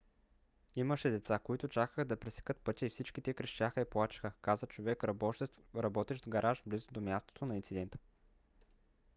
имаше деца които чакаха да пресекат пътя и всички те крещяха и плачеха каза човек работещ в гараж близо до мястото на инцидента